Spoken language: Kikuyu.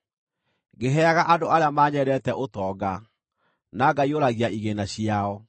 ngĩheaga andũ arĩa manyendete ũtonga, na ngaiyũragia igĩĩna ciao.